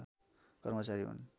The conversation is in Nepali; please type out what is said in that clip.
कर्मचारी हुन्